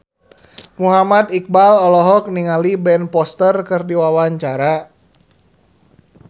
Muhammad Iqbal olohok ningali Ben Foster keur diwawancara